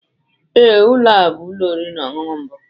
Ee, ụlọ a bụ ụlọ oriri na ọṅụṅụ mbụ.